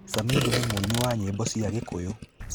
Samidoh nĩ mũini wa nyĩmbo cia Gikuyu.